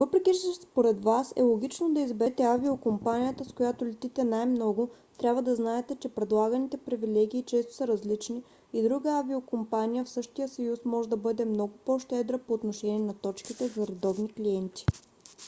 въпреки че според вас е логично да изберете авиокомпанията с която летите най-много трябва да знаете че предлаганите привилегии често са различни и друга авиокомпания в същия съюз може да бъде много по-щедра по отношение на точките за редовни клиенти